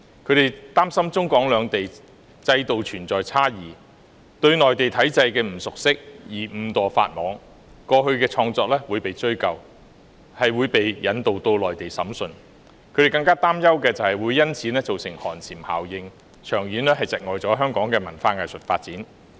他們擔心中港兩地制度存在差異，會因為對內地體制的不熟悉而誤墮法網，過去的創作亦會被追究，可能會遭引渡到內地審訊；他們更擔憂的是會因此造成寒蟬效應，長遠窒礙香港的文化藝術發展。